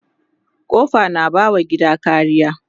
kofa na ba wa gida kariya